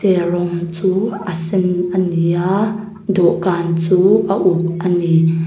rawng chu a sen ani a dawhkan chu a uk ani.